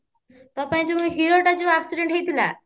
ତୋ ପାଇଁ ଯୋଉ ମୁଁ ଯୋଉ heroଟା ଯଉ accident ହେଇଥିଲା